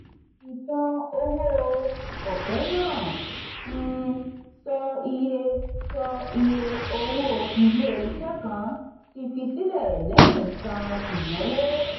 ìṣàn owó ọ̀fẹ́ náà um sọ iye sọ iye owó ilé-iṣẹ́ kan ti fi sílẹ̀ lẹ́yìn san ìnáwó.